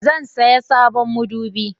Zan saya sabon madubi